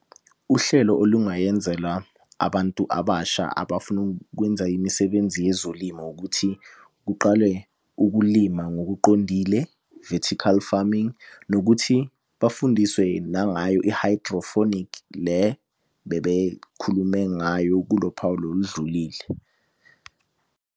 Uhlelo olungayenzela abantu abasha abafuna ukwenza imisebenzi yezolimo ukuthi kuqalwe ukulima ngokuqondile, vertical farming. Nokuthi bafundiswe nangayo i-hydrophonic le bebekhulume ngayo kulo phawu lolu oludlulile.